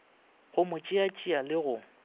go mo tšeatšea le go